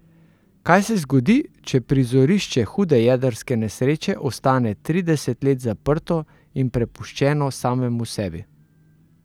Kaj se zgodi, če prizorišče hude jedrske nesreče ostane trideset let zaprto in prepuščeno samemu sebi?